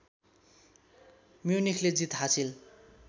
म्युनिखले जित हासिल